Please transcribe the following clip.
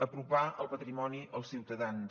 apropar el patrimoni als ciutadans